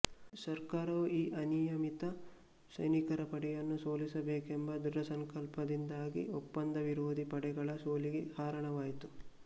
ಸರ್ಕಾರವು ಈ ಅನಿಯಮಿತ ಸೈನಿಕರ ಪಡೆಯನ್ನು ಸೋಲಿಸಬೇಕೆಂಬ ದೃಢಸಂಕಲ್ಪದಿಂದಾಗಿ ಒಪ್ಪಂದವಿರೋಧಿ ಪಡೆಗಳ ಸೋಲಿಗೆ ಹಾರಣವಾಯಿತು